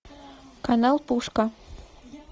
канал пушка